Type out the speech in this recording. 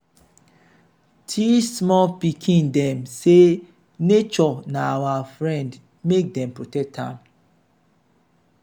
teach small pikin dem say nature na our friend make dem protect am.